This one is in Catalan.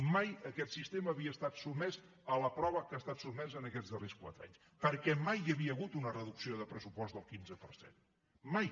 mai aquest sistema havia estat sotmès a la prova que ha estat sotmès en aquests darrers quatre anys perquè mai hi havia hagut una reducció del pressupost del quinze per cent mai